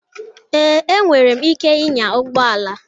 Ee, enwere m ike ịnya ụgbọ ala.